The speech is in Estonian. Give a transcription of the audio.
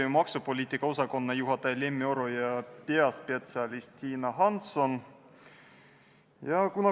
Nii et seetõttu kutsun Reformierakonna nimel küll üles meresõiduohutuse seaduse esimest muudatusettepanekut tagasi lükkama.